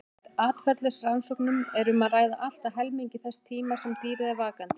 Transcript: Samkvæmt atferlisrannsóknum er um að ræða allt að helmingi þess tíma sem dýrið er vakandi.